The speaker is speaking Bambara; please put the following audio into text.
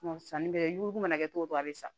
sanni bɛ ko mana kɛ cogo o cogo a bɛ sa